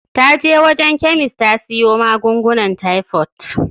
Ta je wajen chemist ta siyo magungunan typhoid.